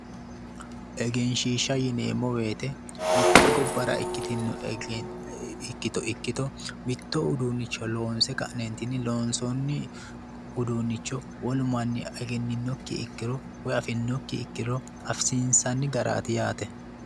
Egenshshiishsha yineemmo woyiite mitte gobbara ikkitinno ikkito ikkito mitto uduunnicho loonse ka'neentinni, loonsoonni uduunnicho wolu manni egenninokki ikkiro woyi afinokki ikkiro afisiinsanni garatai yaate.